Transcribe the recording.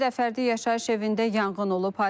İmişlidə fərdi yaşayış evində yanğın olub.